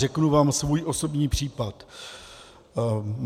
Řeknu vám svůj osobní případ.